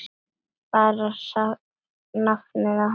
Bara nafnið á henni, Kim.